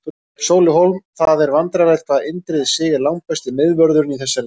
Sóli Hólm Það er vandræðalegt hvað Indriði Sig er langbesti miðvörðurinn í þessari deild.